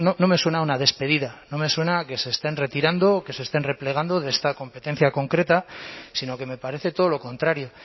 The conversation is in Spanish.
no sé no me suena a una despedida no me suena a que se estén retirando o que se estén replegando de esta competencia concreta sino que me parece todo lo contrario